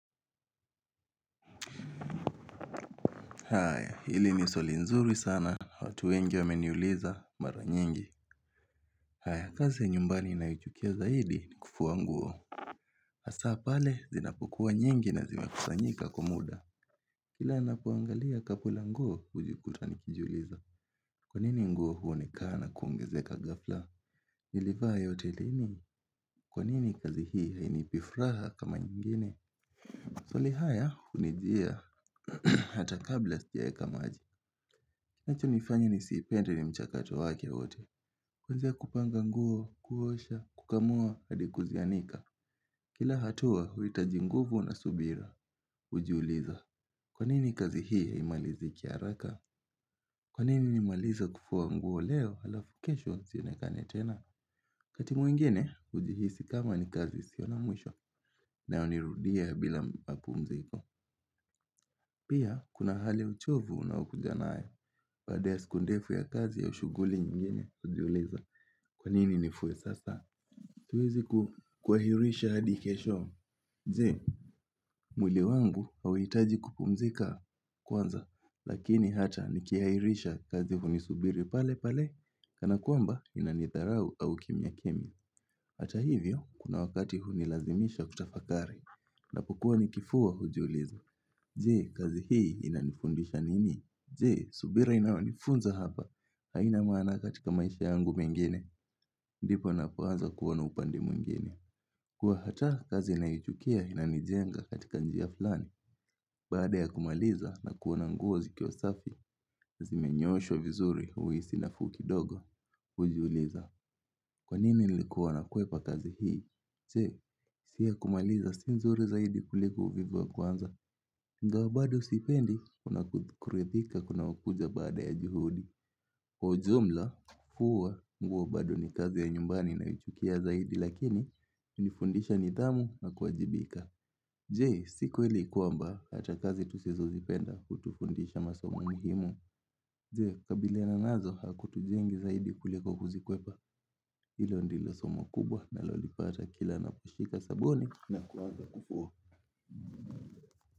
Haya, hili ni swali nzuri sana, watu wengi wameniuliza, mara nyingi haya, kazi ya nyumbani ninayochukia zaidi ni kufua nguo Asa pale, zinapokuwa nyingi na zimekusanyika kwa muda Kila ninapuangalia kapu la nguo, ujikuta nikijuliza Kwa nini nguo huonekana kuongezeka ghafla? Nilivaa ya hotelini, kwa nini kazi hii hainipi fraha kama nyingine? Swali haya, hunijia, hata kabla sijaeka maji Kinachonifanya nisiipende ni mchakato wakewote Kuanzia kupanga nguo, kuosha, kukamua, hadi kuzianika Kila hatua, huitaji nguvu na subira Ujiuliza, kwa nini kazi hii haimaliziki haraka Kwa nini nimalize kufua nguo leo, alafu kesho zionekane tena wakati mwengine, hujihisi kama ni kazi isiyo na mwisho na unirudia bila mapumziko Pia, kuna hali uchovu unaiukuja nayo baada ya siku ndefu ya kazi au shughuli nyingine, hujiuliza. Kwa nini nifue sasa? Tuwezi kuahirisha hadi kesho. Je, mwili wangu hauitaji kupumzika kwanza, lakini hata nikiahirisha kazi hunisubiri pale pale, kana kwamba inanitharau au kimya kimya. Hata hivyo, kuna wakati hunilazimisha kutafakari. Napokuwa nikifua, hujiuliza. Je, kazi hii inanifundisha nini? Je, subira inaonifunza hapa. Haina maana katika maisha yangu mengine. Ndipo napoanza kuona upande mwengine. Kuwa hata kazi nayochukia inanijenga katika njia fulani. Baada ya kumaliza na kuona nguo zikiwa safi. Zimenyooshwa vizuri huisi nafuu kidogo. Hujiuliza. Kwa nini nilikuwa nakwepa kazi hii. Je, hisia ya kumaliza si nzuri zaidi kuliko uvivu wa kuanza. Ingawa bado sipendi, kuna kurithika kunaoakuja baada ya juhudi Kwa ujumla, huwa, mguo bado ni kazi ya nyumbani nayoichukia zaidi Lakini, hunifundisha nidhamu na kuwajibika Je, si kweli kwamba, hata kazi tusizo zipenda hutufundisha masomo muhimu Je, kukabiliana nazo, hakutujengi zaidi kuliko kuzikwepa Hilo ndilo somo kubwa nalolipata kila naposhika sabuni na kuanza kufua.